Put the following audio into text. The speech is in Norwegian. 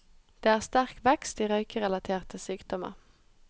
Det er sterk vekst i røykerelaterte sykdommer.